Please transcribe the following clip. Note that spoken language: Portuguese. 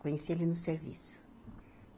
Conheci ele no serviço.